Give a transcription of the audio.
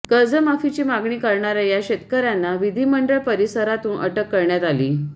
कर्जमाफीची मागणी करणाऱ्या या शेतकऱ्यांना विधिमंडळ परिसरातून अटक करण्यात आली